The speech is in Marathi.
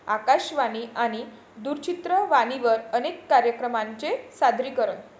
आकाशवाणी आणि दूरचित्रवाणीवर अनेक कार्यक्रमांचे सादरीकरण.